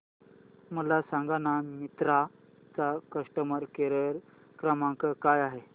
मला सांगाना मिंत्रा चा कस्टमर केअर क्रमांक काय आहे